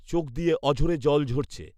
চোখ দিয়ে অঝোরে জল ঝরছে